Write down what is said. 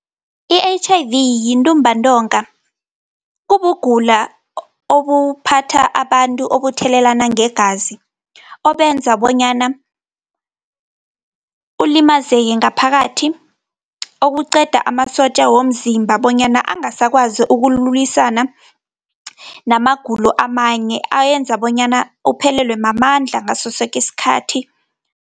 I-H_I_V, yintumbantonga, kubugula obuphatha abantu, obuthelelana ngegazi. Obenza bonyana ulimazake ngaphakathi, okuqeda amasotja womzimba bonyana angasakwazi ukulwisana namagulo amanye, ayenza bonyana uphelelwe mamandla, ngasosoke isikhathi.